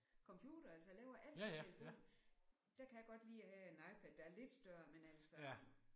Computer altså laver alt på telefonen. Der kan jeg godt lide at have en iPad der er lidt større men altså